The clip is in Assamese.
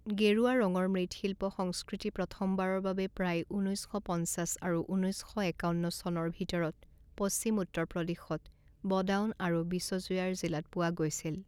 গেৰুৱা ৰঙৰ মৃৎশিল্প সংস্কৃতি প্ৰথমবাৰৰ বাবে প্ৰায় ঊনৈছ শ পঞ্চাছ আৰু ঊনৈছ শ একাৱন্ন চনৰ ভিতৰত, পশ্চিম উত্তৰ প্ৰদেশত, বদাউন আৰু বিচজুয়াৰ জিলাত পোৱা গৈছিল।